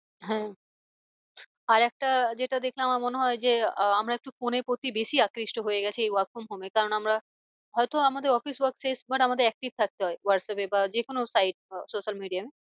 হ্যাঁ আর একটা যেটা দেখে আমার মনে হয় যে আমরা একটু phone এর প্রতি বেশি আকৃষ্ট হয়ে গেছি এই work from home এ কারণ আমরা হয় তো আমাদের office work শেষ but আমাদের active থাকতে হয় হোয়াটস্যাপ এ বা যে কোনো site এ social media